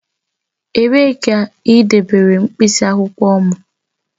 Ebee ka i debere mkpịsị akwụkwọ m?